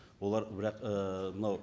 олар бірақ ііі мынау